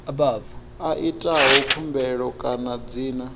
a itaho khumbelo kana dzina